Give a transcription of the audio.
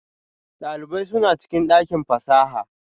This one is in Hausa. Dalibai suna cikin dakin fasaha?